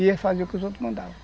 E ele fazia o que os outros mandavam.